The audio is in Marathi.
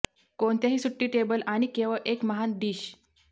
कोणत्याही सुट्टी टेबल आणि केवळ एक महान डिश